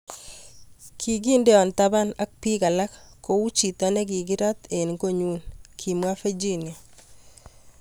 Kikindeo taban ak biik alak kou chito nekikirat eng kot nyun, kimwa Virginia.